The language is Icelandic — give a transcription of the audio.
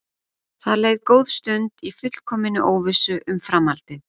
Það leið góð stund í fullkominni óvissu um framhaldið.